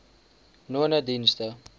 nonedienste